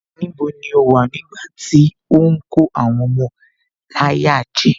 Níbo ni o wà nígbàtí ó ń kó àwọn ọmọ láyà jẹ